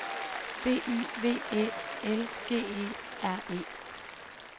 B Y V Æ L G E R E